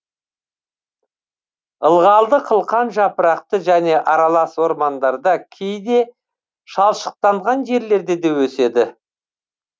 ылғалды қылқан жапырақты және аралас ормандарда кейде шалшықтанған жерлерде де өседі